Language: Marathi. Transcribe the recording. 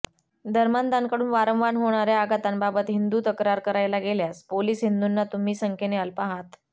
धर्मांधांकडून वारंवार होणार्या आघातांबाबत हिंदू तक्रार करायला गेल्यास पोलीस हिंदूंना तुम्ही संख्येने अल्प आहात